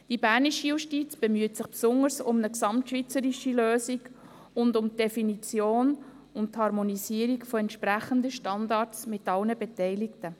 Die Bernische Justiz bemüht sich besonders um eine gesamtschweizerische Lösung und um die Definition und Harmonisierung von entsprechenden Standards mit allen Beteiligten.